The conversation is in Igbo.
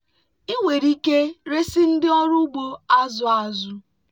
ị nwere ike resị ndị ọrụ ugbo azụ̀ azụ̀.